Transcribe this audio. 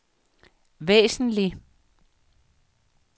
væsentlig